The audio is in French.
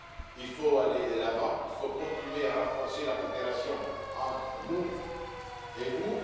Il faut aller de l'avant et continuer à renforcer la coopération entre vous et nous.